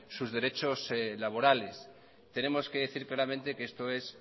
sus derechos laborales tenemos que decir claramente que esto es